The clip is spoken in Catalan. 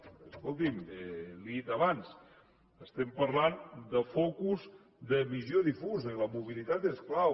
perquè escolti’m li ho he dit abans parlem de focus de visió difusa i la mobilitat és clau